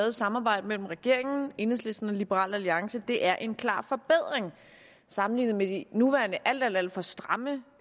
et samarbejde mellem regeringen enhedslisten og liberal alliance er en klar forbedring sammenlignet med de nuværende alt alt for stramme